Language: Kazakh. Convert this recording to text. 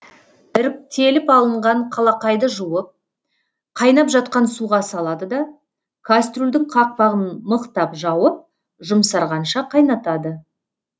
іріктеліп алынған қалақайды жуып қайнап жатқан суға салады да кастрюльдің қақпағын мықтап жауып жұмсарғанша қайнатады